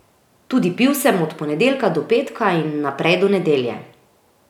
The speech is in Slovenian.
Tudi pil sem od ponedeljka do petka in naprej do nedelje.